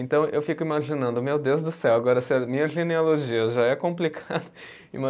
Então eu fico imaginando, meu Deus do céu, agora se a minha genealogia já é complicada.